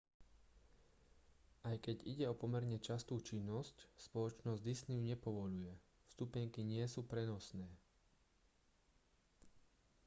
aj keď ide o pomerne častú činnosť spoločnosť disney ju nepovoľuje vstupenky nie sú prenosné